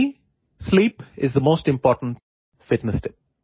For me sleep is the most important fitness tip